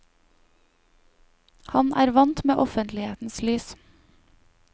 Han er vant med offentlighetens lys.